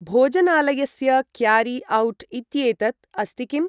भोजनालयस्य carry out इत्येतत् अस्ति किम्?